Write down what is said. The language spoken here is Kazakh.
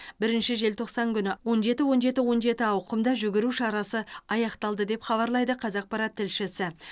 бірінші желтоқсан күні он жеті он жеті он жеті ауқымды жүгіру шарасы аяқталды деп хабарлайды қазақпарат тілшісі